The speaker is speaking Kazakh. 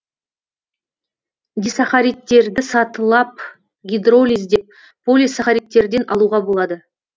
дисахаридтерді сатылап гидролиздеп полисахаридтерден алуға болады